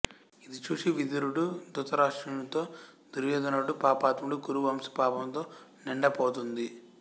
ఇది చూసి విదురుడు దృతరాష్ట్రునితో దుర్యోధనుడు పాపాత్ముడు కురు వంశం పాపంతో నిండపోతుంది